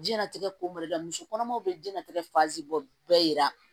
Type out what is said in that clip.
Jiyɛn latigɛ ko ma dɛ muso kɔnɔmaw bɛ jiyɛn latigɛ fasi bɔ bɛɛ yira